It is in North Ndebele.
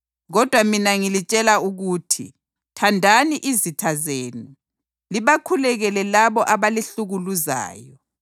Kodwa mina ngilitshela ukuthi, thandani izitha zenu, libakhulekele labo abalihlukuluzayo,